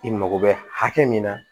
I mago bɛ hakɛ min na